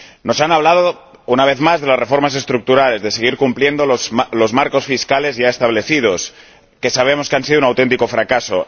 Nos han hablado, una vez más, de las reformas estructurales, de seguir cumpliendo los marcos fiscales ya establecidos, que sabemos que han sido un auténtico fracaso.